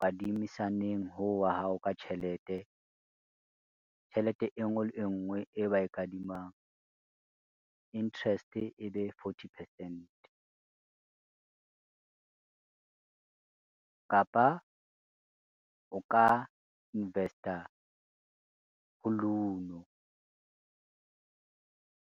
kadimisaneng hoo wa hao ka tjhelete, tjhelete e ngwe le e ngwe e ba e kadimang interest e be forty percent. Kapa o ka invest-a ho Luno